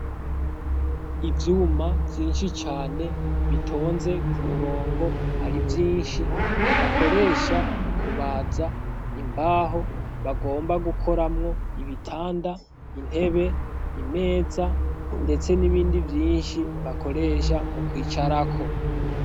Ivyuma vyinshi cane bitonze ku murongo ari vyinshi bakoresha mu kubaza imbaho bagomba gukoramwo ibitanda intebe imeza, ndetse n'ibindi vyinshi bakoresha mu kwicarako.